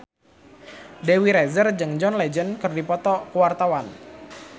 Dewi Rezer jeung John Legend keur dipoto ku wartawan